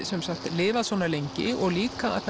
lifað svona lengi og líka það